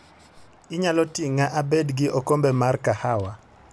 Inyalo ting'a abed gi okombe mar kahawa.